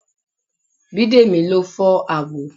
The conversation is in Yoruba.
Bidemi ló fọ́ àwo